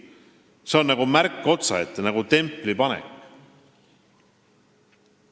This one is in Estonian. See on nagu märk otsaette, nagu templi panek.